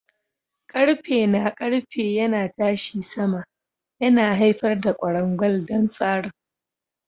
Ƙarfe na ƙarfe yana tashi sama, yana haifar da kwarangwal don tsarin.